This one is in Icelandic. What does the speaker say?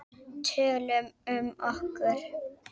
Tölum um okkur.